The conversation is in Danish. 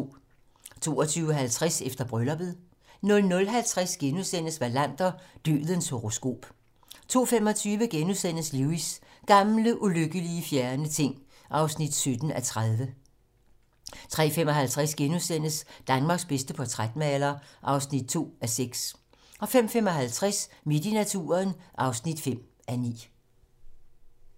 22:50: Efter brylluppet 00:50: Wallander: Dødens horoskop * 02:25: Lewis: Gamle, ulykkelige, fjerne ting (17:30)* 03:55: Danmarks bedste portrætmaler (2:6)* 05:55: Midt i naturen (5:9)